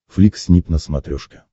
флик снип на смотрешке